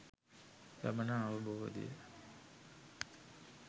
ලබන අවබෝධය